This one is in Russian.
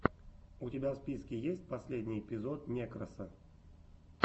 у тебя в списке есть последний эпизод некроса